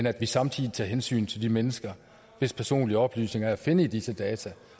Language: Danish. at vi samtidig tager hensyn til de mennesker hvis personlige oplysninger er at finde i disse data